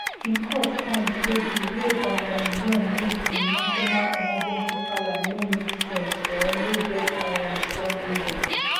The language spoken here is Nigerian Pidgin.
di court find say di way um yoon use im national emergency powers no make sense or no get um strong reason